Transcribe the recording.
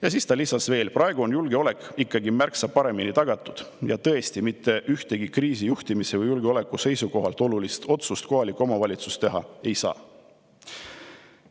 " Ja siis ta lisas veel: "Praegu on julgeolek ikkagi märksa paremini tagatud ja tõesti, mitte ühtegi kriisijuhtimise või julgeoleku seisukohalt olulist otsust kohalik omavalitsus teha ei saa.